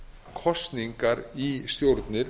kosningar í stjórnir